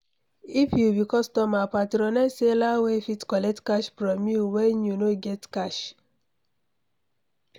If you be customer, patronize seller wey fit collect cash from you when you no get cash